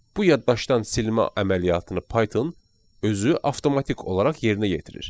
Bu yaddaşdan silmə əməliyyatını Python özü avtomatik olaraq yerinə yetirir.